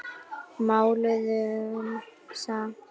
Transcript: Máluðum samt.